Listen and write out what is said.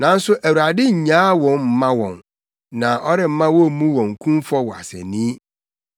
nanso Awurade nnyaa wɔn mma wɔn, na ɔremma wommu wɔn kumfɔ wɔ asennii.